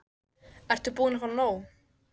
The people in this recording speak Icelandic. Ert þú búin að fá nóg?